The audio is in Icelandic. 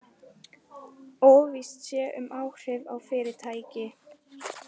Óvíst sé um áhrif á fyrirtæki